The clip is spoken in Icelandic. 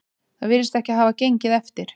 Það virðist ekki hafa gengið eftir